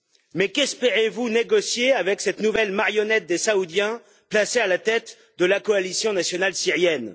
Mais qu'espérez vous négocier avec cette nouvelle marionnette des Saoudiens placée à la tête de la Coalition nationale syrienne?